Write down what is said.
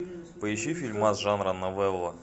поищи фильмас жанра новелла